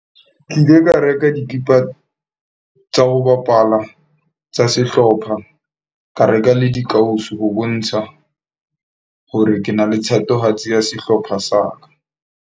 Ke ile ka reka dikipa tsa ho bapala tsa sehlopha. Ka reka le dikausu ho bontsha hore ke na le thatohatsi ya sehlopha sa ka.